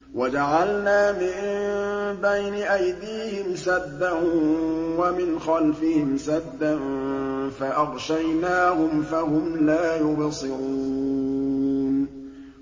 وَجَعَلْنَا مِن بَيْنِ أَيْدِيهِمْ سَدًّا وَمِنْ خَلْفِهِمْ سَدًّا فَأَغْشَيْنَاهُمْ فَهُمْ لَا يُبْصِرُونَ